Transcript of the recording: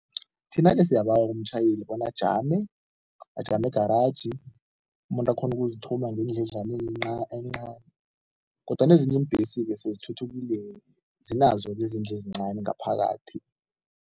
Thina-ke siyabawa kumtjhayeli bona ajame, ajame egaraji, umuntu akghone ukuzithuma ngendledlaneni encani kodwana ezinye iimbhesi-ke sezithuthukile, zinazo izindlu ezincani ngaphakathi.